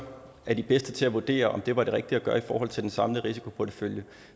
er de bedste til at vurdere om det var det rigtige at gøre i forhold til den samlede risikoportefølje